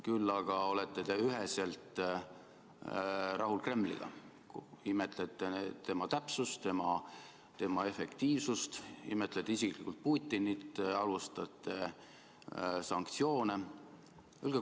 Küll aga olete te üheselt rahul Kremliga, imetlete sealset täpsust, efektiivsust, imetlete isiklikult Putinit, halvustate sanktsioone.